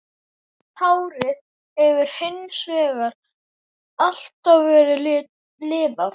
Hárið hefur hins vegar alltaf verið liðað.